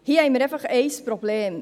Hier haben wir einfach ein Problem: